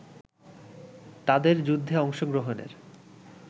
তাদের যুদ্ধে অংশগ্রহণের